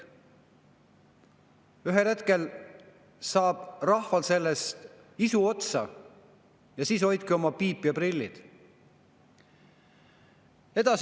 Ühel hetkel saab rahval sellest isu otsa ja siis hoidke piip ja prillid!